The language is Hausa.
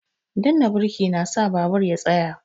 Danna birki na sa babur ya tsaya